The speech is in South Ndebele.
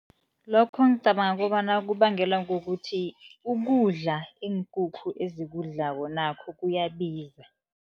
Lokho ngicabanga kobana kubangelwa kukuthi ukudla iinkukhu ezikudlako nakho kuyabiza.